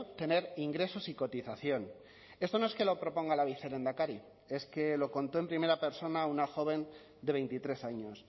tener ingresos y cotización esto no es que lo proponga la vicelehendakari es que lo contó en primera persona una joven de veintitrés años